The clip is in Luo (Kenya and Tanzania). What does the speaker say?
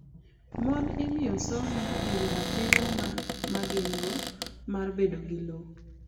Mon imiyo somo e wi ratiro ma gin-go mar bedo gi lowo.